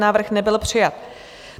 Návrh nebyl přijat.